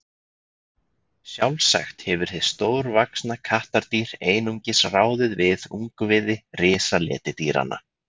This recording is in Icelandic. sjálfsagt hefur hið stórvaxna kattardýr einungis ráðið við ungviði risaletidýranna